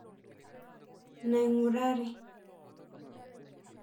Naingurari